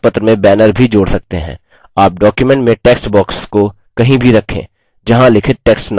आप document में text box को कहीं भी रखें जहाँ लिखित text न हो